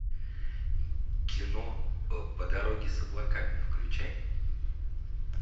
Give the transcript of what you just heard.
кино по дороге с облаками включай